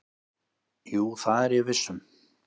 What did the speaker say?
"""Jú, það er ég viss um."""